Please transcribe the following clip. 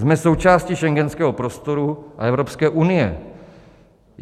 Jsme součástí schengenského prostoru a Evropské unie.